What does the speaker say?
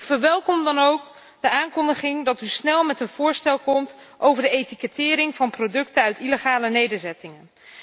Ik verwelkom dan ook de aankondiging dat u snel met een voorstel komt over de etikettering van producten uit illegale nederzettingen.